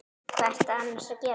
Hvað ertu annars að gera?